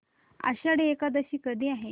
आषाढी एकादशी कधी आहे